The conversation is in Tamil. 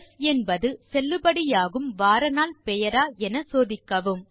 ஸ் என்பது செல்லுபடியாகும் வாரநாள் பெயரா என சோதிக்கவும்